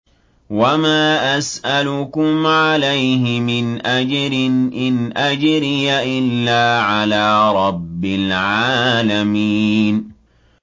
وَمَا أَسْأَلُكُمْ عَلَيْهِ مِنْ أَجْرٍ ۖ إِنْ أَجْرِيَ إِلَّا عَلَىٰ رَبِّ الْعَالَمِينَ